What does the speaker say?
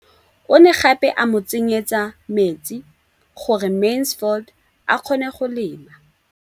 O ne gape a mo tsenyetsa metsi gore Mansfield a kgone go lema.